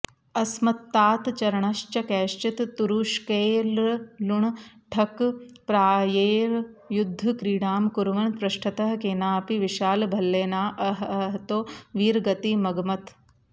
अस्मत्तातचरणश्च कैश्चित् तुरुष्कैर्लुण्ठकप्रायैर्युद्धक्रीडां कुर्वन् पृष्ठतः केनाऽपि विशालभल्लेनाऽऽहतो वीरगतिमगमत्